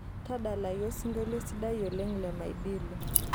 tadalayu osingolio sidai oleng' le madilu